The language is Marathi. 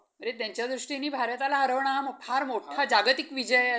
अरे त्यांच्या दृष्टीनी भारताला हरवणं हा फार मोठा जागतिक विजय असं म्हटलं पाहिजे.